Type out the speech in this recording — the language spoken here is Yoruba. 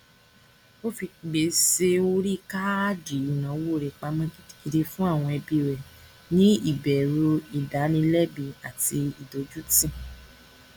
ó fi gbèsè orí káàdì ìnáwó rẹ pamọ gidigidi fún àwọn ẹbí rẹ ní ìbẹrùu ìdánilẹbi àti ìdójútì